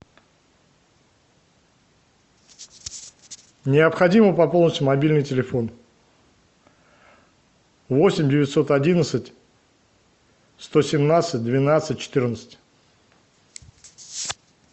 необходимо пополнить мобильный телефон восемь девятьсот одиннадцать сто семнадцать двенадцать четырнадцать